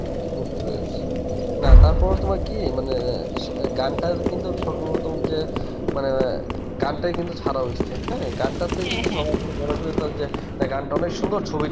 আচ্ছা, বুঝতে পেরেছি. না, তারপর তোমার কি মানে গানটা কিন্তু সর্বপ্রথম যে মানে গানটাই কিন্তু ছাড়া হইসে হ্যাঁ গানটার থেকে সবার যে গানটা অনেক সুন্দর ছবিটা